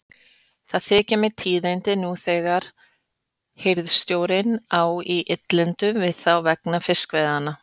Það þykja mér tíðindi nú þegar hirðstjórinn á í illindum við þá vegna fiskveiðanna.